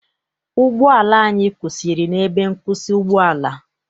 Ụgbọala anyị kwụsịrị n'ebe nkwụsị ụgbọala.